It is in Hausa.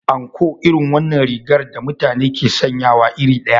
Anko irin wannan rigar da mutane ke sanyawa iri ɗaya.